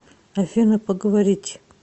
афина поговорить